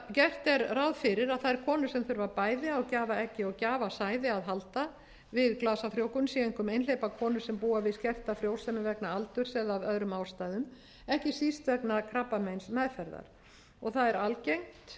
gert er ráð fyrir að þær konur sem þurfa bæði á gjafaeggi og gjafasæði að halda við glasafrjóvgun séu einkum einhleypar konur sem búa við skerta frjósemi vegna aldurs eða af öðrum ástæðum ekki síst vegna krabbameinsmeðferðar það er algengt eins og menn